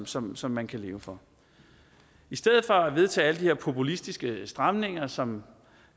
som som man kan leve for i stedet for at vedtage alle de her populistiske stramninger som